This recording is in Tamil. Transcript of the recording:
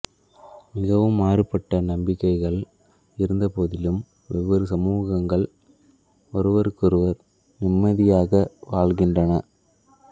மிகவும் மாறுபட்ட நம்பிக்கைகள் இருந்தபோதிலும் வெவ்வேறு சமூகங்கள் ஒருவருக்கொருவர் நிம்மதியாக வாழ்கின்றன